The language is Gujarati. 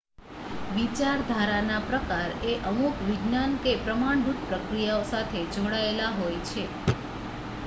વિચારધારાનાં પ્રકાર એ અમુક વિજ્ઞાન કે પ્રમાણભૂત પ્રક્રિયાઓ સાથે જોડાયેલા હોય છે